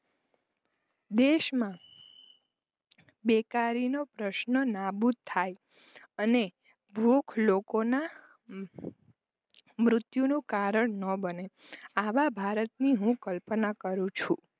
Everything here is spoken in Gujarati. દેશમાં બેકારીનો પ્રશ્ન નાબૂદ થાય અને ભૂખ લોકોના મુત્યુ કારણ ન બને આવા ભારતની હું કલ્પના કરું છું.